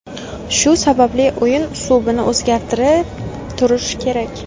Shu sababli o‘yin uslubini o‘zgartirib turish kerak.